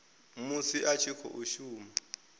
musi a tshi khou shuma